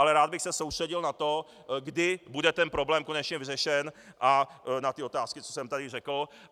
Ale rád bych se soustředil na to, kdy bude ten problém konečně vyřešen, a na ty otázky, co jsem tady řekl.